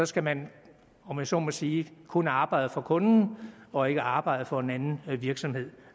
skal man om jeg så må sige kun arbejde for kunden og ikke samtidig arbejde for en anden virksomhed